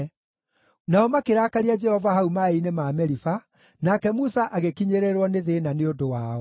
Nao makĩrakaria Jehova hau maaĩ-inĩ ma Meriba, nake Musa agĩkinyĩrĩrwo nĩ thĩĩna nĩ ũndũ wao;